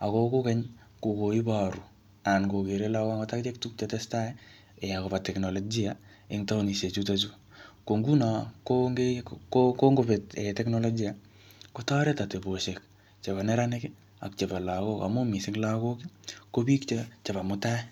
Ako kokeny, kokoiboru anan kokere lagok angot akichek tuguk che tesetai um akoba teknolojia eng taonishek chutochu. Ko nguno, konge-kongobet teknolojia, kotoret ateboshek chebo neranik, ak chebo lagok. Amu missing lagok, ko biik che-chebo mutai.